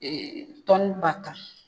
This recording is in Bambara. ba tan